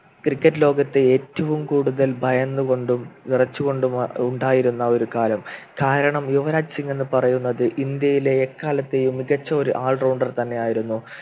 Cricket ലോകത്തെ ഏറ്റവും കൂടുതൽ ഭയന്നുകൊണ്ടും വിറച്ചുകൊണ്ടും ആഹ് ഉണ്ടായിരുന്ന ഒരു കാലം കാരണം യുവരാജ് സിംഗ് എന്ന് പറയുന്നത് ഇന്ത്യയിലെ എക്കാലത്തെയും മികച്ച ഒരു allrounder തന്നെയായിരുന്നു